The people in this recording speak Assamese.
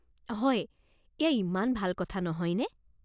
হয়! এয়া ইমান ভাল কথা নহয়নে?